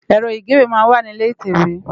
Èrò igéwé má n wá ni ilé itèwé